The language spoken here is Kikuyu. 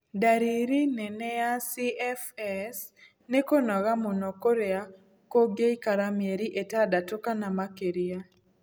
Ndariri nene ya CFS nĩ kũnoga mũno kũrĩa kũngĩikara mĩeri ĩtandatu kana makĩria.